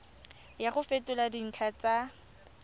ya go fetola dintlha tsa